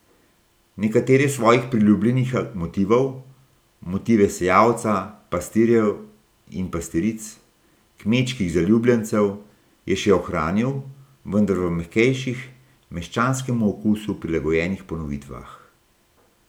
Nekatere svojih priljubljenih motivov, motive sejavca, pastirjev in pastiric, kmečkih zaljubljencev, je še ohranil, vendar v mehkejših, meščanskemu okusu prilagojenih ponovitvah.